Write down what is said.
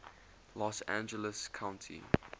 los angeles county